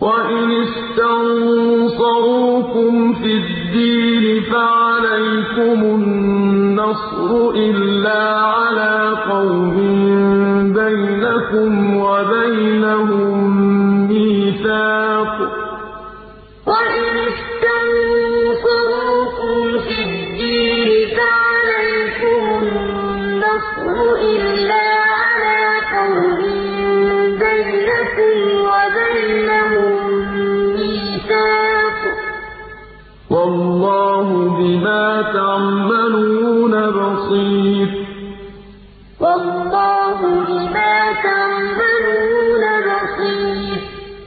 وَإِنِ اسْتَنصَرُوكُمْ فِي الدِّينِ فَعَلَيْكُمُ النَّصْرُ إِلَّا عَلَىٰ قَوْمٍ بَيْنَكُمْ وَبَيْنَهُم مِّيثَاقٌ ۗ وَاللَّهُ بِمَا تَعْمَلُونَ بَصِيرٌ إِنَّ الَّذِينَ آمَنُوا وَهَاجَرُوا وَجَاهَدُوا بِأَمْوَالِهِمْ وَأَنفُسِهِمْ فِي سَبِيلِ اللَّهِ وَالَّذِينَ آوَوا وَّنَصَرُوا أُولَٰئِكَ بَعْضُهُمْ أَوْلِيَاءُ بَعْضٍ ۚ وَالَّذِينَ آمَنُوا وَلَمْ يُهَاجِرُوا مَا لَكُم مِّن وَلَايَتِهِم مِّن شَيْءٍ حَتَّىٰ يُهَاجِرُوا ۚ وَإِنِ اسْتَنصَرُوكُمْ فِي الدِّينِ فَعَلَيْكُمُ النَّصْرُ إِلَّا عَلَىٰ قَوْمٍ بَيْنَكُمْ وَبَيْنَهُم مِّيثَاقٌ ۗ وَاللَّهُ بِمَا تَعْمَلُونَ بَصِيرٌ